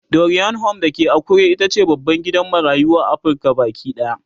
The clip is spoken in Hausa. Dorian Home da ke Akure itace babban gidan marayu a Afrika Baki ɗaya